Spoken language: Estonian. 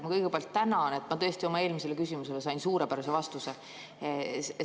Ma kõigepealt tänan, et ma tõesti oma eelmisele küsimusele sain suurepärase vastuse.